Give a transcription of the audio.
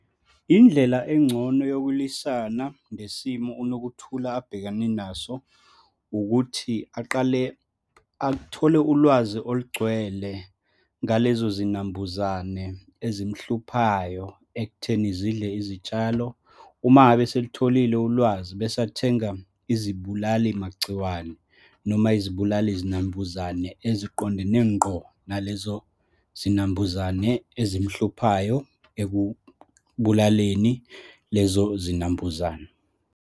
Indlela engcono yokulwisana nesimo uNokuthula abhekene naso, ukuthi aqale athole ulwazi olugcwele ngalezo zinambuzane ezimhluphayo ekutheni zidle izitshalo. Uma ngabe eselitholile ulwazi, bese athenga izibulali magciwane, noma izibulali zinambuzane eziqondene ngqo nalezo zinambuzane ezimhluphayo ekubulaleni lezo zinambuzane.